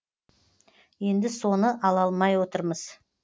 енді соны ала алмай отырмыз